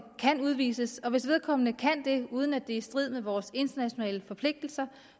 kan udvises og hvis vedkommende kan det uden at det er i strid med vores internationale forpligtelser